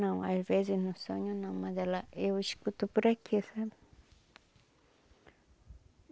Não, às vezes no sonho não, mas ela... eu escuto por aqui, sabe?